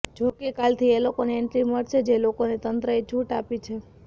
જોકે કાલથી એ લોકોને એન્ટ્રી મળશે જે લોકોને તંત્રએ છુટ આપી છે